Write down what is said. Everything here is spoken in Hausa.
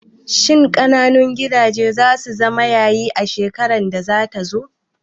Shin ƙananun gidaje zasu zama yayi a shekarar da zata zo?